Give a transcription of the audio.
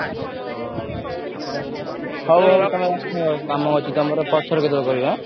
ହଉ କାମ ଅଛି ତମର ପଛରେ କେତବେଳେ କରିବି ଆଁ?